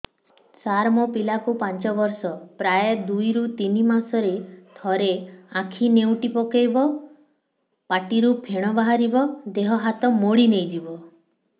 ସାର ମୋ ପିଲା କୁ ପାଞ୍ଚ ବର୍ଷ ପ୍ରାୟ ଦୁଇରୁ ତିନି ମାସ ରେ ଥରେ ଆଖି ନେଉଟି ପକାଇବ ପାଟିରୁ ଫେଣ ବାହାରିବ ଦେହ ହାତ ମୋଡି ନେଇଯିବ